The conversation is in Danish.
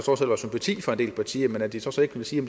del partier men at de så så ikke vil sige